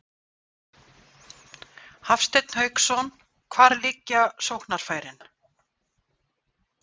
Hafsteinn Hauksson: Hvar liggja sóknarfærin?